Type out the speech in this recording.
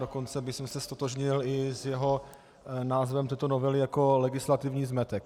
Dokonce bych se ztotožnil i s jeho názvem této novely jako legislativní zmetek.